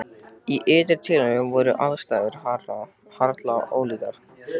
Í ytra tilliti voru aðstæður harla ólíkar.